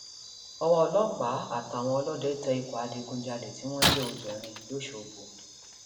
ọwọ ọlọpàá àtàwọn ọlọdẹ tẹ ikọ adigunjalè tí wọn jẹ obìnrin lọṣọgbó